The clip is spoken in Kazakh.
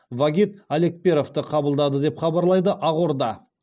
вагит алекперовті қабылдады деп хабарлайды ақорда